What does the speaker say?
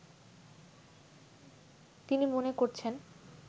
তিনি মনে করছেন